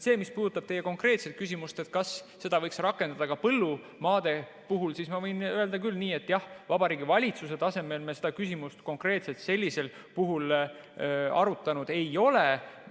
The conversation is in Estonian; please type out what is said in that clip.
Mis puudutab teie konkreetset küsimust, kas seda võiks rakendada ka põllumaade puhul, siis ma võin öelda küll, et Vabariigi Valitsuse tasemel me seda küsimust konkreetselt sellisel puhul arutanud ei ole.